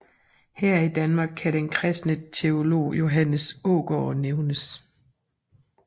Her i Danmark kan den Kristne teolog Johannes Aagaard nævnes